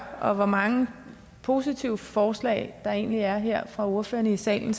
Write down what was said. og hvor mange positive forslag der egentlig er her fra ordførerne i salen